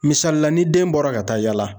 Misali la ni den bɔra ka taa yaala.